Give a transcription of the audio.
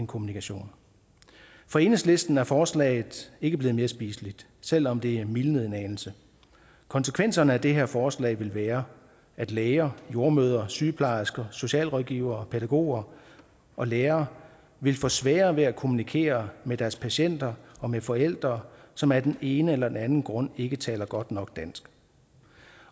kommunikation for enhedslisten er forslaget ikke blevet mere spiseligt selv om det er mildnet en anelse konsekvenserne af det her forslag vil være at læger jordemødre sygeplejersker socialrådgivere pædagoger og lærere vil få sværere ved at kommunikere med deres patienter og med forældre som af den ene eller den anden grund ikke taler godt nok dansk